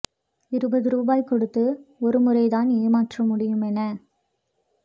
இருபது ரூபாய் கொடுத்து ஒரு முறை தான் ஏமாற்ற முடியும் என